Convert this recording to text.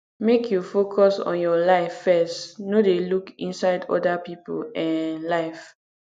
make you focus on your life first no dey look inside oda pipo um life